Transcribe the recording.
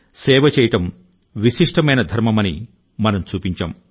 సేవ చేయడం విశిష్టమైన ధర్మమని మనం చూపించాం